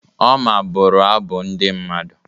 Oma bụrụ abụ ndị mmadụ.